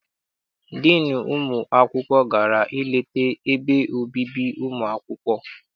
Diinu ụmụ akwụkwọ gara I leta ebe obibi ụmụ akwụkwọ.